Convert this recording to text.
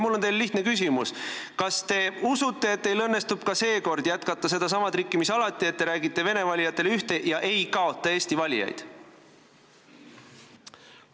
Mul on teile lihtne küsimus: kas te usute, et teil õnnestub ka seekord teha sedasama trikki, mis alati: te räägite vene valijatele ühte ja eesti valijatele teist, et mitte kaotada eesti valijaid?